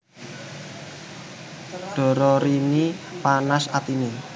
Dororini panas atiné